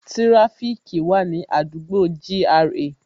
Tíráfíkì wà ní àdúgbò gra